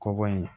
Kɔgɔ in